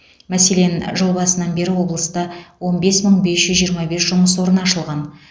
мәселен жыл басынан бері облыста он бес мың бес жүз жиырма бес жұмыс орны ашылған